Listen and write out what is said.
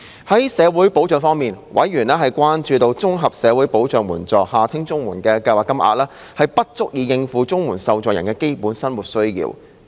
在社會保障方面，委員關注到，綜合社會保障援助計劃金額，不足以應付綜援受助人的基本生活需要。